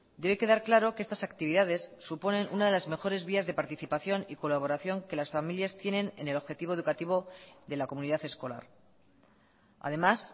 debe quedar claro que estas actividades suponen una de las mejores vías de participación y colaboración que las familias tienen en el objetivo educativo de la comunidad escolar además